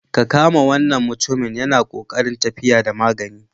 Ka kama wannan mutumin yana ƙoƙarin tafiya da magani.